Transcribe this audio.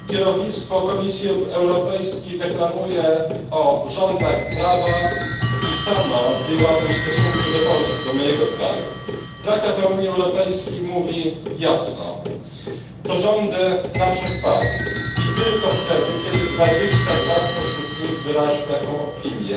Panie Przewodniczący! Kierownictwo Komisji Europejskiej deklamuje o rządach prawa i samo je łamie w stosunku do Polski, do mojego kraju. Traktat o Unii Europejskiej mówi jasno to rządy naszych państw i tylko wtedy kiedy 22 spośród nich wyrazi taką opinię